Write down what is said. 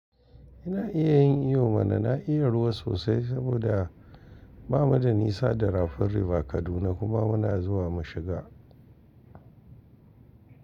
Ina iya yin iyo mana. Na iya ruwa sosai saboda ba mu da nisa da rafin River Kaduna kuma muna zuwa mu shiga.